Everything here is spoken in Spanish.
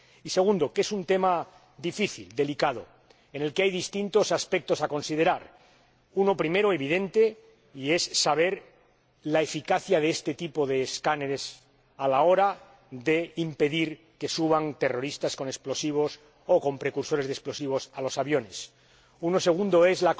En segundo lugar, que es un tema difícil, delicado, en el que hay distintos aspectos que considerar primero, evidentemente, conocer la eficacia de este tipo de escáneres a la hora de impedir que suban terroristas con explosivos o con precursores de explosivos a los aviones. El segundo